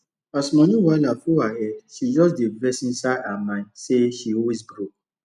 as money wahala full her head she just dey vex inside her mind say she always broke